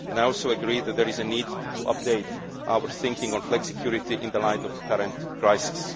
I also agree that there is a need to update our thinking on flexicurity in the light of the current crisis.